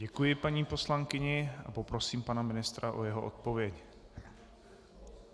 Děkuji paní poslankyni a poprosím pana ministra o jeho odpověď.